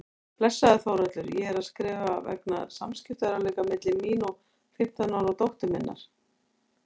Blessaður Þórhallur, ég er að skrifa vegna samskiptaörðugleika milli mín og fimmtán ára dóttur minnar.